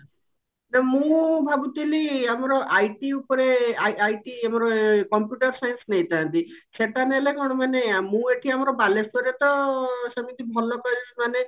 ତ ମୁଁ ଭାବୁଥିଲି ଆମର IT ଉପରେ ଆଇ IT ଆମର computer science ନେଇଥାନ୍ତି ସେଟା ନେଲେ କଣ ମାନେ ମୁଁ ଏଠି ଆମର ବାଲେଶ୍ଵରରେ ତ ସେମିତି ଭଲ college ମାନେ